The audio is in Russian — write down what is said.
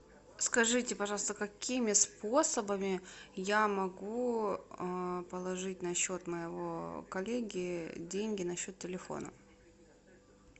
скажите пожалуйста какими способами я могу положить на счет моего коллеги деньги на счет телефона